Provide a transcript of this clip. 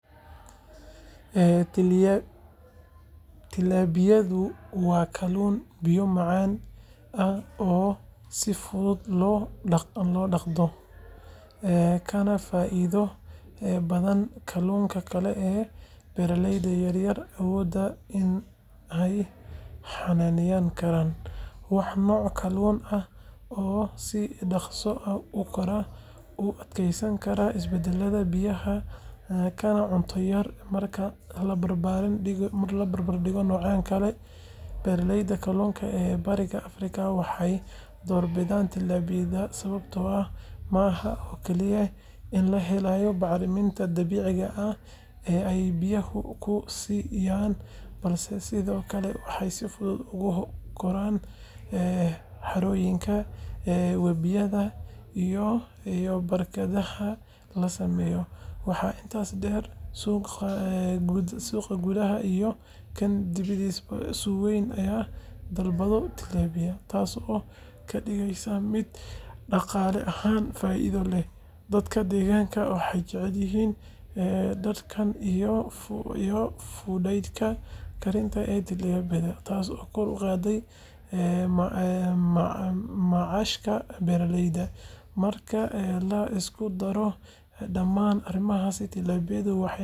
Tilapiyada waa kalluun biyo macaan ah oo si fudud loo dhaqdo, kana faa’iido badan kalluunka kale ee beeraleyda yaryar awoodaan in ay xanaaneyn karaan. Waa nooc kalluun ah oo si dhakhso ah u kora, u adkeysan kara isbeddelka biyaha, kana cunto yar marka la barbar dhigo noocyada kale. Beeraleyda kalluunka ee Bariga Afrika waxay doorbidaan tilapiyada sababtoo ah ma aha oo kaliya in la helayo bacriminta dabiiciga ah ee ay biyaha ku sii daayaan, balse sidoo kale waxay si fudud ugu koraan harooyinka, webiyada, iyo barkadaha la sameeyay. Waxaa intaas dheer, suuqa gudaha iyo kan dibaddaba uu si weyn u dalbado tilapiyada, taas oo ka dhigaysa mid dhaqaale ahaan faa’iido leh. Dadka deegaanka waxay jecel yihiin dhadhanka iyo fudaydka karinta ee tilapiyada, taasoo kor u qaadaysa macaashka beeraleyda. Marka la isku daro dhammaan arrimahaas, tilapiyada waxay noqdeen kalluunka ugu badan ee laga beerto Bariga Afrika.